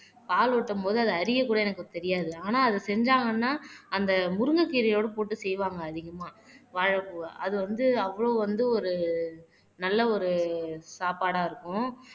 பால் ஓட்டும் போது அதை அறியக்கூட எனக்கு தெரியாது ஆனா அத செஞ்சாங்கன்னா அந்த முருங்கைக்கீரையோட போட்டு செய்வாங்க அதிகமா வாழைப்பூவ அது வந்து அவ்ளோ வந்து ஒரு நல்ல ஒரு சாப்பாடா இருக்கும்